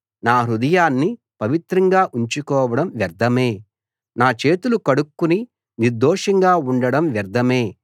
నా హృదయాన్ని పవిత్రంగా ఉంచుకోవడం వ్యర్థమే నా చేతులు కడుక్కుని నిర్దోషంగా ఉండడం వ్యర్థమే